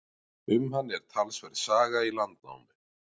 Um hann er talsverð saga í Landnámu.